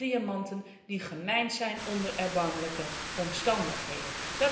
Alle diamanten die gemijnd zijn onder erbarmelijke omstandigheden.